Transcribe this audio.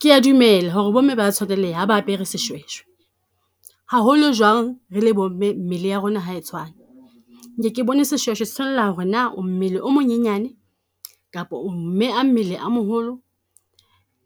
Ke a dumela ho re bomme ba a tshwaneleha ha ba apere seshweshwe, haholo jwang re le bo mme mmele wa rona ha e tshwane. Nke ke bone seshweshwe se tshwanela ho re na o mmele o monyenyane kapa o mme a mmele a moholo